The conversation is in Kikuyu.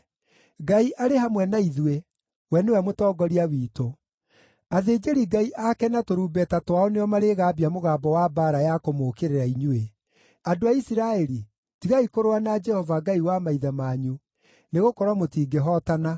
Ngai arĩ hamwe na ithuĩ; we nĩwe mũtongoria witũ. Athĩnjĩri-Ngai ake na tũrumbeta twao nĩo marĩgambia mũgambo wa mbaara ya kũmũũkĩrĩra inyuĩ. Andũ a Isiraeli, tigai kũrũa na Jehova, Ngai wa maithe manyu, nĩgũkorwo mũtingĩhootana.”